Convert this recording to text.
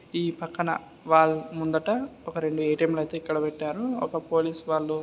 ఈ పక్కన వాళ్ళ ముందట ఒక రెండు ఏ.టీ.ఎం లైతే ఇక్కడ పెట్టారు ఒక పోలీస్ వాళ్లు --